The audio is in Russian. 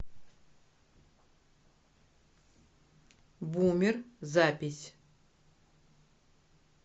бумер запись